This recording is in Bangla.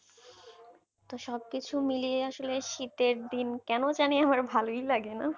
তো সবকিছু মিলিয়ে আসলে শীতের দিন কেন জানি আমার ভালই লাগেনা না